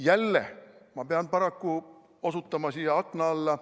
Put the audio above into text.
Jälle ma pean paraku osutama siia akna alla.